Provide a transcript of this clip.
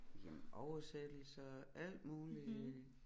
Jamen oversættelser alt muligt